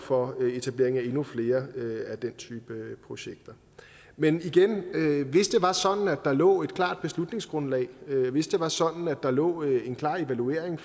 for etableringen af endnu flere af den type projekter men igen hvis det var sådan at der lå et klart beslutningsgrundlag og hvis det var sådan at der lå en klar evaluering